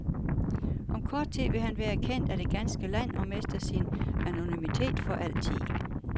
Om kort tid vil han være kendt af det ganske land og mister sin anonymitet for altid.